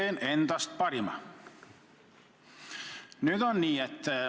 Annan endast parima.